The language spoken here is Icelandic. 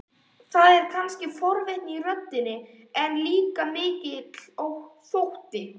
Það er kannski forvitni í röddinni, en líka mikill þótti.